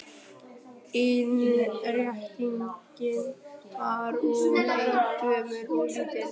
Innréttingin var úr eik, gömul og lítil.